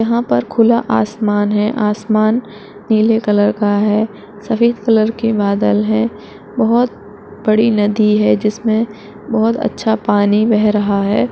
यहाँ पर खुला आसमान है। आसमान नीले कलर का है। सफ़ेद कलर के बादल हैं। बहुत बड़ी नदी है जिसमे बहुत अच्छा पानी बह रहा हैं।